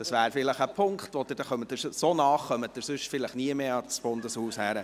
Dies wäre vielleicht ein Punkt, und so nahe kommen Sie vielleicht nie mehr ans Bundeshaus heran.